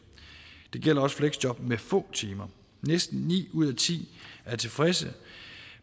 det gælder også fleksjob med få timer næsten ni ud af ti er tilfredse